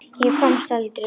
Ég komst aldrei út.